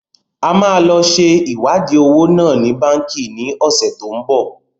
A máa lọ ṣe iwadi owó náà ni Báńkì ni ọ̀sẹ̀ tó ń bọ̀.